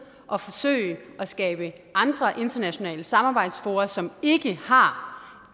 at forsøge at skabe andre internationale samarbejdsfora som ikke har